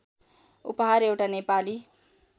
उपहार एउटा नेपाली